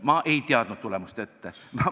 Ma ei teadnud tulemust ette.